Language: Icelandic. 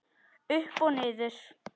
Upp og niður